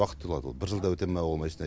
уақыт алады ол бір жылда өтеді ма ол машина